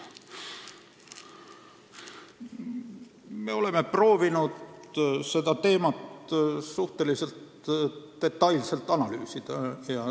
Me oleme proovinud seda teemat suhteliselt detailselt analüüsida.